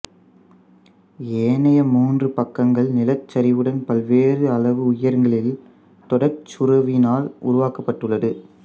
ஏனைய மூன்று பக்கங்கள் நிலச் சரிவுடன் பல்வேறு அளவு உயரங்களில் தொடர்ச்சுரவினால் உருவாக்கப்பட்டுள்ளது